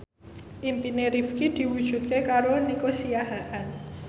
impine Rifqi diwujudke karo Nico Siahaan